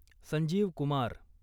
Sanjeev Kumar